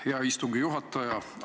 Hea istungi juhataja!